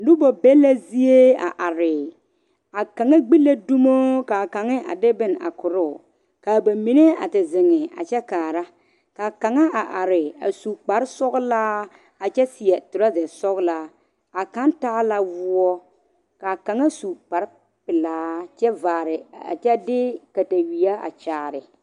Noba be la zie a are, a kaŋa gbi la dumo kaa kaŋa a de bon a koɔrɔ, kaa ba mine a te zeŋ kyɛ kaara kaa kaŋa are a su kpare sɔglaa a kyɛ seɛ trouza sɔglaa a kaŋ taa la wɔɔ kaa kaŋa su kpare pɛlaa kyɛ de katawie a kyaare